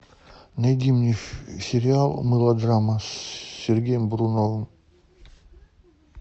найди мне сериал мылодрама с сергеем буруновым